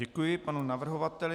Děkuji panu navrhovateli.